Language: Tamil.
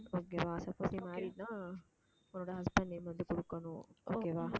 okay வா married ன்னா உன்னோட husband name வந்து கொடுக்கணும், okay வா